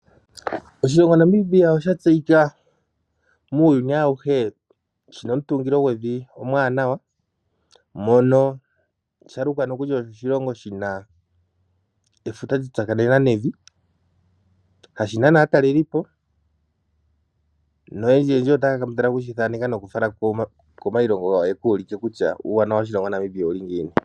Oshilongo Namibia osha tseyika muuyuni awuhe shi na omutungilo gwevi omuwanawa, mono shalukwa nokuli osho oshilongo shina efuta lya tsakanena nevi , hashi nana aataleli po noyendji yendji ota ya kambadhala oku shi thaneka nokushi fala komayilongo gawo ya ka ulike kutya uuwanawa woshilongo Namibia owu li ngiini.